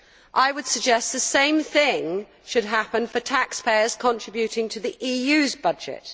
I would suggest the same thing should happen for taxpayers contributing to the EU's budget.